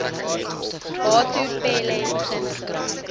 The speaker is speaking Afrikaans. batho pele beginsel